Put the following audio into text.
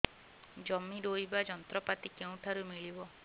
ଜମି ରୋଇବା ଯନ୍ତ୍ରପାତି କେଉଁଠାରୁ ମିଳିବ